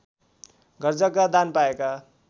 घरजग्गा दान पाएका